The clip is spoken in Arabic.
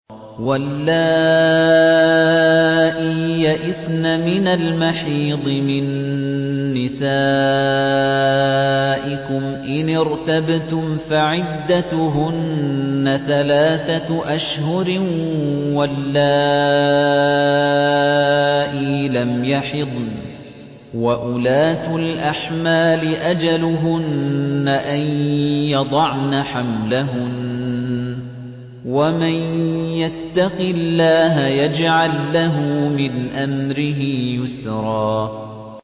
وَاللَّائِي يَئِسْنَ مِنَ الْمَحِيضِ مِن نِّسَائِكُمْ إِنِ ارْتَبْتُمْ فَعِدَّتُهُنَّ ثَلَاثَةُ أَشْهُرٍ وَاللَّائِي لَمْ يَحِضْنَ ۚ وَأُولَاتُ الْأَحْمَالِ أَجَلُهُنَّ أَن يَضَعْنَ حَمْلَهُنَّ ۚ وَمَن يَتَّقِ اللَّهَ يَجْعَل لَّهُ مِنْ أَمْرِهِ يُسْرًا